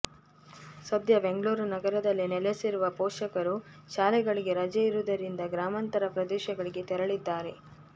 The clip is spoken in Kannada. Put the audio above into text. ಸದ್ಯ ಬೆಂಗಳೂರು ನಗರದಲ್ಲಿ ನೆಲೆಸಿರುವ ಪೋಷಕರು ಶಾಲೆಗಳಿಗೆ ರಜೆ ಇರುವುದರಿಂದ ಗ್ರಾಮಾಂತರ ಪ್ರದೇಶಗಳಿಗೆ ತೆರಳಿದ್ದಾರೆ